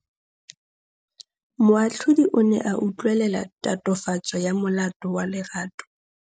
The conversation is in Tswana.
Moatlhodi o ne a utlwelela tatofatsô ya molato wa Lerato.